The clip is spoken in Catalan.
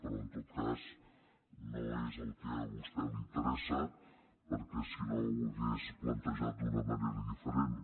però en tot cas no és el que a vostè li interessa perquè si no ho hauria plantejat d’una manera diferent